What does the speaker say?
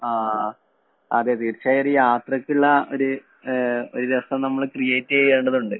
ആ, അതേ, തീര്‍ച്ചയായും ഒരു യാത്രയ്ക്കുള്ള ഒരു ഒരു രസം നമ്മള് ക്രിയേറ്റ് ചെയ്യണ്ടതുണ്ട്.